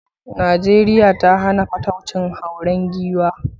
Najeriya ta hana fataucin hauren giwa.